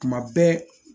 Kuma bɛɛ